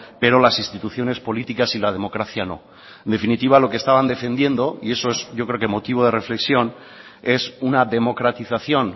pero las instituciones políticas y la democracia no en definitiva lo que estaban defendiendo y eso es yo creo que motivo de reflexión es una democratización